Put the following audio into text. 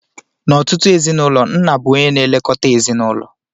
N'ọtụtụ ezinụlọ, nna bụ onye na-elekọta ezinụlọ